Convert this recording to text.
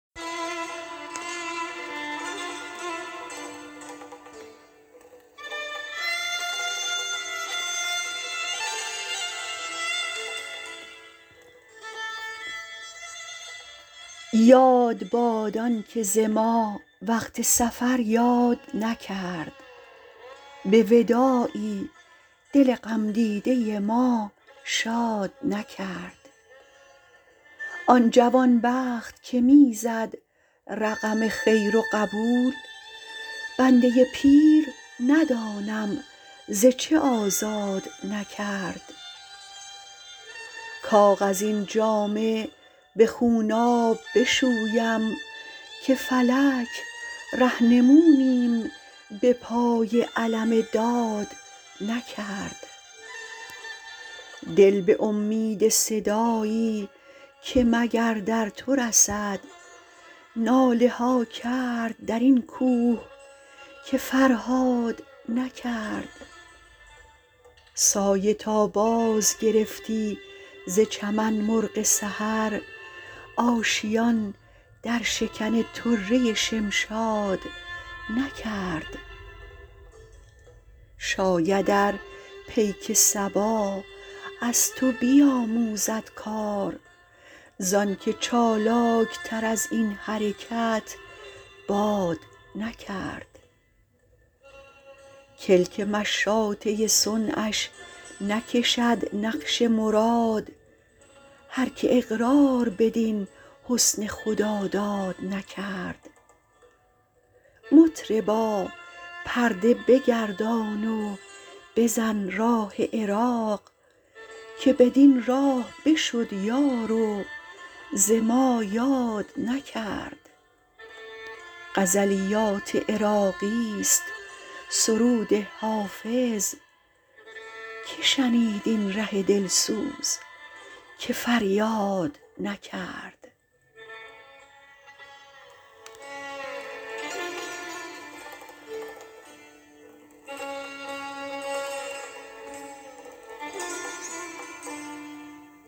یاد باد آن که ز ما وقت سفر یاد نکرد به وداعی دل غم دیده ما شاد نکرد آن جوان بخت که می زد رقم خیر و قبول بنده پیر ندانم ز چه آزاد نکرد کاغذین جامه به خونآب بشویم که فلک رهنمونیم به پای علم داد نکرد دل به امید صدایی که مگر در تو رسد ناله ها کرد در این کوه که فرهاد نکرد سایه تا بازگرفتی ز چمن مرغ سحر آشیان در شکن طره شمشاد نکرد شاید ار پیک صبا از تو بیاموزد کار زآن که چالاک تر از این حرکت باد نکرد کلک مشاطه صنعش نکشد نقش مراد هر که اقرار بدین حسن خداداد نکرد مطربا پرده بگردان و بزن راه عراق که بدین راه بشد یار و ز ما یاد نکرد غزلیات عراقی ست سرود حافظ که شنید این ره دل سوز که فریاد نکرد